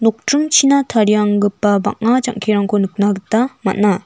nokdringchina tarianggipa bang·a jang·kirangko nikna gita man·a.